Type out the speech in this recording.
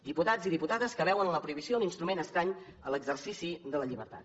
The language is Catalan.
diputats i diputades que veuen en la prohibició un instrument estrany a l’exercici de la llibertat